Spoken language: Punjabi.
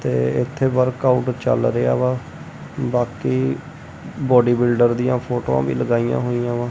ਤੇ ਇਥੇ ਵਰਕ ਆਊਟ ਚੱਲ ਰਿਹਾ ਵਾ ਬਾਕੀ ਬੋਡੀ ਬਿਲਡਰ ਦੀਆਂ ਫੋਟੋਆਂ ਵੀ ਲਗਾਈਆਂ ਹੋਈਆਂ ਵਾ।